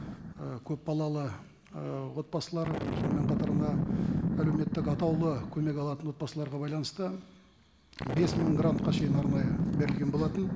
ы көпбалалы ы отбасылар сонымен қатар мына әлеуметтік атаулы көмек алатын отбасыларға байланысты бес мың грантқа шейін норма берілген болатын